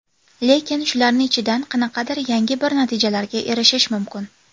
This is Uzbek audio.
Lekin, shularni ichidan qanaqadir yangi bir natijalarga erishish mumkin.